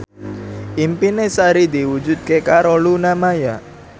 impine Sari diwujudke karo Luna Maya